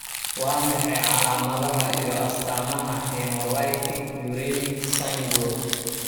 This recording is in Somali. Waa maxay calaamadaha iyo astaamaha Hemolytic uremic syndrome?